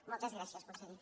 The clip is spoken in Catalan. moltes gràcies conseller